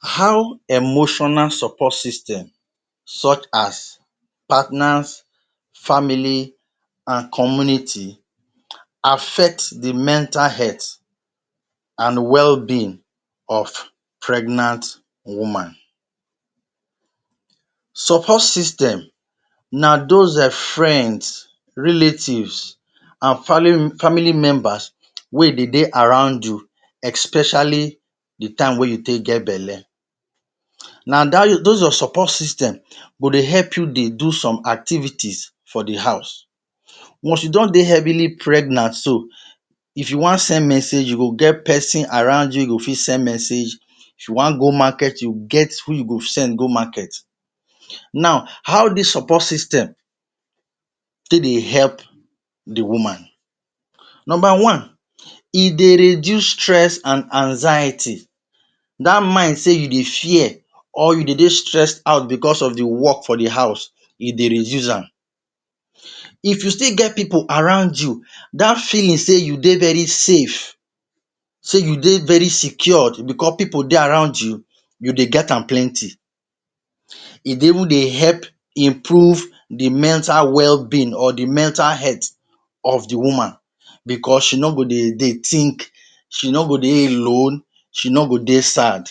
How emotional support system such as partners, family, and community affect di mental health and wellbeing of pregnant woman. Support system na those um friends, relatives, and fali- family members wey dey de around you especially di time wey you take get belle. Na dat those your support system go dey help you dey do some activities for di house. Once you don de heavily pregnant so, if you wan send message you go get pesin around you wey you go fit send message. If you wan go market you get who you go send go market. Now, how dis support system take dey help di woman? Nomba one, e dey reduce stress and anxiety – dat mind sey you dey fear or you dey de stressed out becos of di work for di house e dey reduce am. If you still get pipu around you, dat feeling sey you dey very safe, sey you dey very secured becos pipu de around you, you de get an plenti. E dey able dey help improve di mental wellbeing or di mental health of di woman becos she no go de de think, she no go de alone, she no go de sad.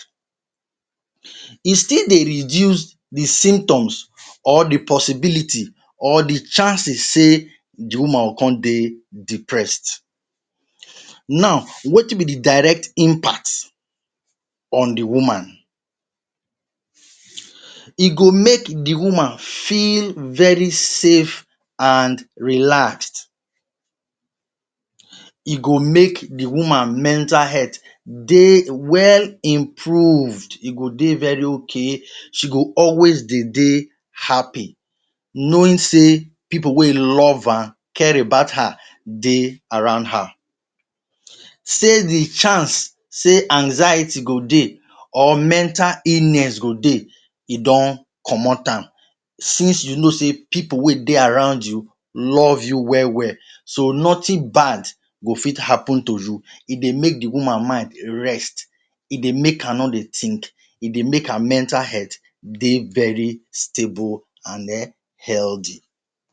E still de reduce di symptoms or di possibility or di chances sey di woman go con de depressed. Now, wetin be di direct impact on di woman? E go make di woman feel very safe and relaxed. E go make di woman mental health de well improved, e go de very okay, she go always dey de happy, knowing sey pipu wey love am, care about her de around her, sey di chance sey anxiety go de or mental illness go de, e don comot am, since you know sey pipu wey de around you love you well well so nothing bad go fit happen to you. E de make di woman mind rest, e dey make am no de think, e dey make her mental health de very stable and um healthy.